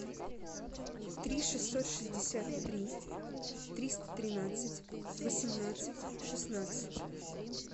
три шестьсот шестьдесят три триста тринадцать восемнадцать шестнадцать